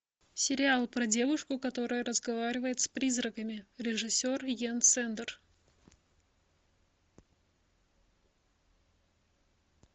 сериал про девушку которая разговаривает с призраками режиссер йен сэндер